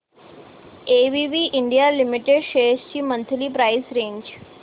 ABB India limited shares ची monthly price range